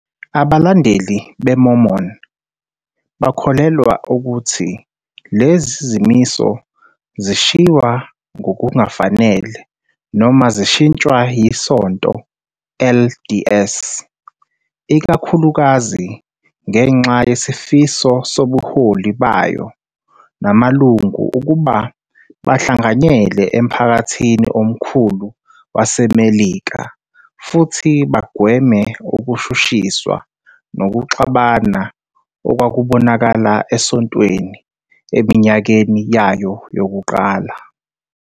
Abalandeli be-Mormon bakholelwa ukuthi lezi zimiso zashiywa ngokungafanele noma zashintshwa yiSonto LDS, ikakhulukazi ngenxa yesifiso sobuholi bayo namalungu ukuba bahlanganyele emphakathini omkhulu waseMelika futhi bagweme ukushushiswa nokuxabana okwakubonakala esontweni eminyakeni yayo yokuqala.